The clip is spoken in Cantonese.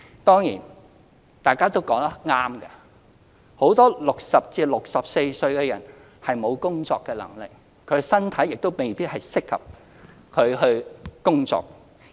當然，大家也說得對，很多60至64歲的人士沒有工作能力，身體亦未必適合工作。